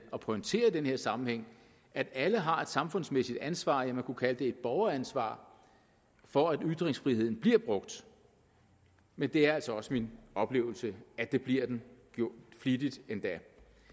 og pointere i den her sammenhæng at alle har et samfundsmæssigt ansvar ja man kunne kalde det et borgeransvar for at ytringsfriheden bliver brugt men det er altså også min oplevelse at det bliver den flittigt endda